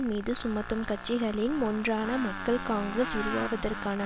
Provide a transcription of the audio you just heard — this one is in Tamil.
மீது சுமத்தும் கட்சிகளின் ஒன்றாக மக்கள் காங்கிரஸ் உருவாவதற்கான